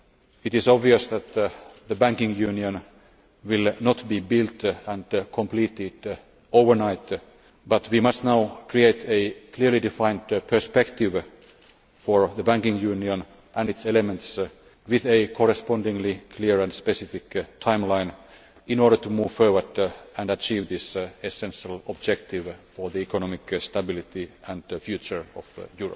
It is obvious that the banking union will not be built and completed overnight, but we must now create a clearly defined perspective for the banking union and its elements with a correspondingly clear and specific timeline in order to move forward and achieve this essential objective for the economic stability and future of Europe.